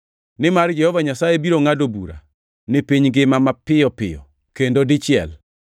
Nimar Jehova Nyasaye biro ngʼado bura ni piny ngima mapiyo piyo kendo dichiel.” + 9:28 \+xt Isa 10:22,23\+xt*